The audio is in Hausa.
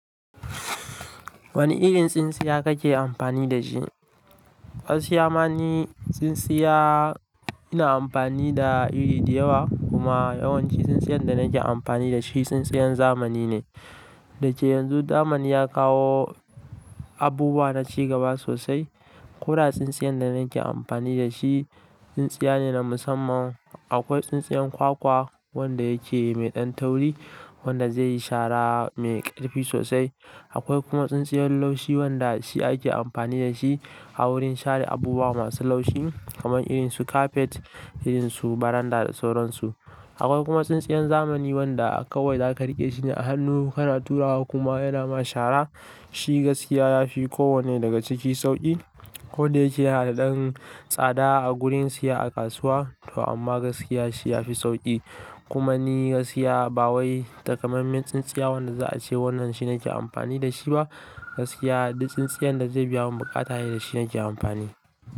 Wane irin tsintsiya kake amfani da shi? Gaskiya ma ni tsintsiya ina amfani da iri dayawa kuma yawanci tsintsiyan da nake amfani da shi, tsintsiyan zamani ne. Da cewa yanzu zamani ya kawo abubuwa na cigaba sosai. Koda tsintsiyan da nake amfani da shi, tsintsiya ne na musamman. Akwai tsintsiyan kwakwa wanda yake mai ɗan tauri, wanda zai yi shara mai ƙarfi sosai. Akwai kuma tsintsiyan laushi wanda shi ake amfani da shi a wurin share abubuwa masu laushi kamar irin su kafet, irin su baranda da sauran su. Akwai kuma tsintsiyan zamani wanda kawai za ka riƙe shi a hannu kana turawa kuma yana ma shara. Shi gaskiya ya fi kowane daga ciki sauƙi. Koda yake yana da ɗan tsada a gurin siya a kasuwa to amma gaskiya shi ya fi sauƙi. Kuma ni gaskiya ba wai takamaiman tsintsiya wanda za a ce wannan shi nake amfani da shi ba, gaskiya duk tsintsiyan da zai biya mun buƙata shi ne nake amfani.